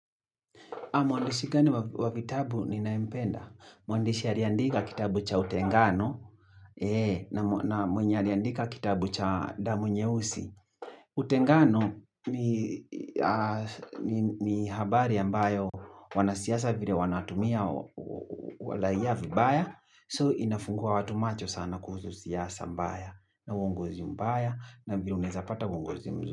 Mwandishi gani wa vitabu ninaempenda Mwandishi alie andika kitabu cha utengano. Eeeh na na mwenye aliandika kitabu cha damu nyeusi. Utengano ni habari ambayo wanasiasa vile wanatumia waraia vibaya. So inafungua watu macho sana kuhusu siasa mbaya. Na uongozi mbaya. Na vile unaeza pata uongozi.